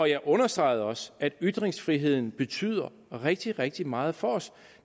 jeg understregede også at ytringsfriheden betyder rigtig rigtig meget for os